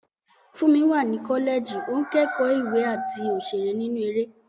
Fúnmi wà ní kọ́lẹ́ẹ̀jì, ó ń kẹ́kọ̀ọ́ ìwé àti òṣèré nínú eré.